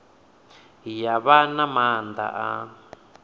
ya vha na maanḓa a